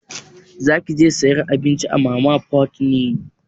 Zaki je sayan abinci a mama put ne?